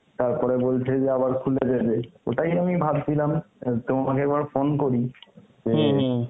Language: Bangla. তারপরে বলছে যে আবার খুলে দেবে, ওটাই আমি ভাবছিলাম অ্যাঁ তোমাকে একবার phone করি, যে